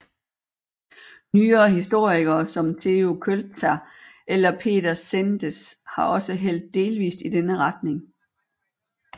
Nyere historikere såsom Theo Kölzer eller Peter Csendes har også hældt delvist i denne retning